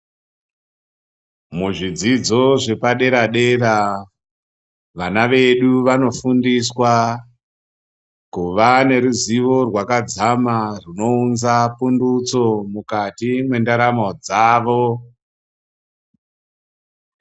Muzvidzidzo zvepadera dera , vana vedu vanofundiswa kuva neruzivo rwakadzama zvinounza pundutso mukati mendaramo dzavo .